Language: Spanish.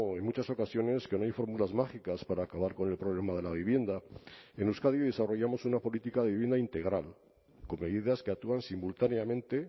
en muchas ocasiones que no hay fórmulas mágicas para acabar con el problema de la vivienda en euskadi desarrollamos una política de vivienda integral con medidas que actúan simultáneamente